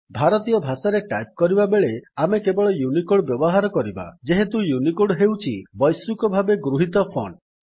ଭାରତୀୟ ଭାଷାରେ ଟାଇପ୍ କରିବାବେଳେ ଆମେ କେବଳ ୟୁନିକୋଡ୍ ବ୍ୟବହାର କରିବା ଯେହେତୁ ୟୁନିକୋଡ୍ ହେଉଛି ବୈଶ୍ୱିକ ଭାବେ ଗୃହିତ ଫଣ୍ଟ୍